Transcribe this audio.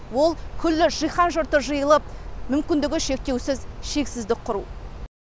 ол күллі жиһан жұрты жиылып мүмкіндігі шектеусіз шексіздік құру